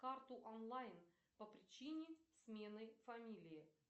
карту онлайн по причине смены фамилии